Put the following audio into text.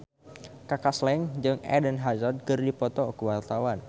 Kaka Slank jeung Eden Hazard keur dipoto ku wartawan